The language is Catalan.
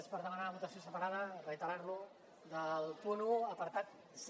és per demanar votació separada i reiterar ho del punt un apartat c